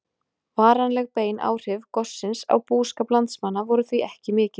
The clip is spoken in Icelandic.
Varanleg bein áhrif gossins á búskap landsmanna voru því ekki mikil.